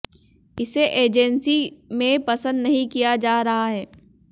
इसे एजेंसी में पसंद नहीं किया जा रहा है